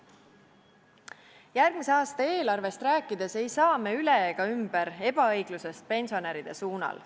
Järgmise aasta eelarvest rääkides ei saa me üle ega ümber ebaõiglusest pensionäride suhtes.